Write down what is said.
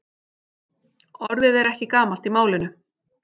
Orðið er ekki gamalt í málinu.